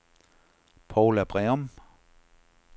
Poula Breum